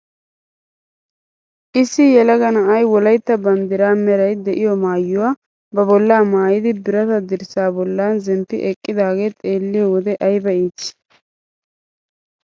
Issi yelaga na'ay wolaytta banddiraa meray de'iyoo maayuwaa ba bolla maayidi birataa dirssaa bolla zemppi eqqidaagee xeeliyoo wode ayba iitii.